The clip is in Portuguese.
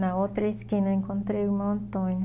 Na outra esquina eu encontrei o irmão Antônio.